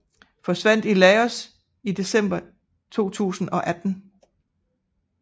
Forsvandt i Laos i december 2018